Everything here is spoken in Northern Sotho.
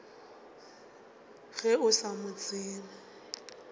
ge o sa mo tsebe